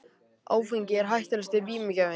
Áfengi hættulegasti vímugjafinn